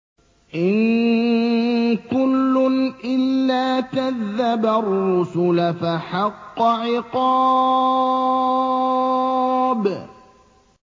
إِن كُلٌّ إِلَّا كَذَّبَ الرُّسُلَ فَحَقَّ عِقَابِ